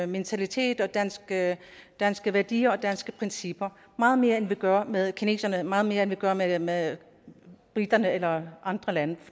mentalitet og danske danske værdier og danske principper meget mere end vi gør med kineserne meget mere end vi gør med med briterne eller andre lande